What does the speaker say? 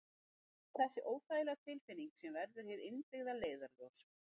Það er þessi óþægilega tilfinning sem verður hið innbyggða leiðarljós.